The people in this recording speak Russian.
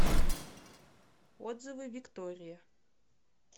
отзывы виктория